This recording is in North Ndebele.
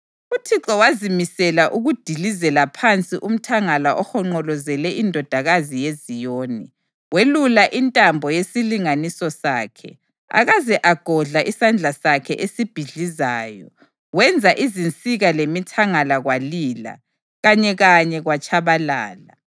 UThixo wazimisela ukudilizela phansi umthangala ohonqolozele iNdodakazi yeZiyoni. Welula intambo yesilinganiso sakhe, akaze agodla isandla sakhe esibhidlizayo. Wenza izinsika lemithangala kwalila; kanyekanye kwatshabalala.